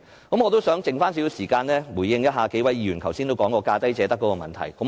我想在餘下的時間，回應一下數位議員提出有關"價低者得"的問題。